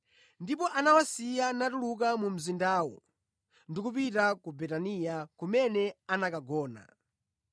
Ndipo anawasiya natuluka mu mzindawo ndi kupita ku Betaniya, kumene anakagona.